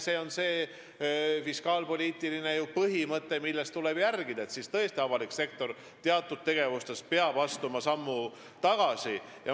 Siin on ju see fiskaalpoliitiline põhimõte, mida tuleb järgida, et avalik sektor peab nüüd tõesti teatud tegevuste puhul sammu tagasi astuma.